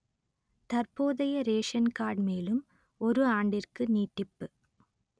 தற்போதைய ration card மேலும் ஒரு ஆண்டிற்கு நீட்டிப்பு